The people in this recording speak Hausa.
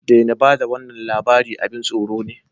Daina ba da wannan labari, abin tsoro ne